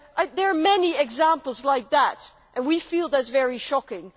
There are many examples like that and we feel that is very shocking.